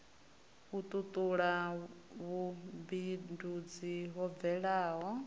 u tutula vhumbindudzi ho bvelaho